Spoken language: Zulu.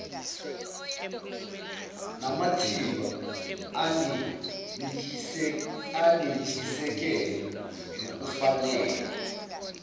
namathimba anentshisekelo nokufanele